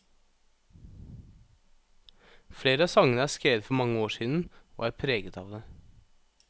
Flere av sangene er skrevet for mange år siden, og er preget av det.